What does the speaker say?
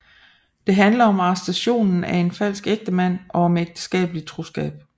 Det handler om arrestationen af en falsk ægtemand og om ægteskabelig troskab